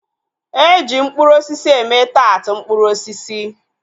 Eji mkpụrụ osisi eme taat mkpụrụ osisi